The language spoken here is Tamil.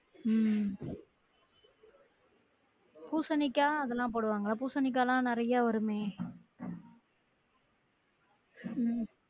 உம் பூசணிக்காய் அதுலா போடுவாங்க பூசணிக்காலாம் நிறையா வருமே உம்